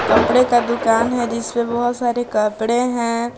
कपड़े का दुकान है जिसमें बहुत सारे कपड़े हैं।